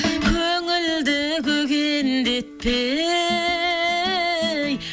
көңілді көгендетпей